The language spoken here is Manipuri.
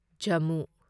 ꯖꯝꯃꯨ